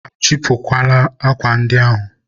a chịpụgokwa akwa ndị ahụ?